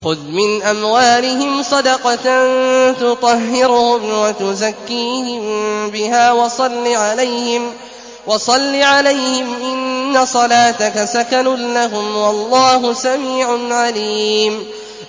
خُذْ مِنْ أَمْوَالِهِمْ صَدَقَةً تُطَهِّرُهُمْ وَتُزَكِّيهِم بِهَا وَصَلِّ عَلَيْهِمْ ۖ إِنَّ صَلَاتَكَ سَكَنٌ لَّهُمْ ۗ وَاللَّهُ سَمِيعٌ عَلِيمٌ